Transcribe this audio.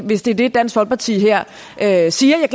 hvis det er det dansk folkeparti her siger jeg